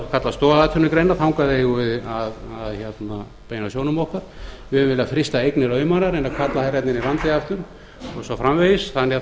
það sem við höfum kallað stoðatvinnugreinar þangað eigum við að beina sjónum okkar við höfum viljað frysta eignir auðmanna reyna að kalla þær hérna inn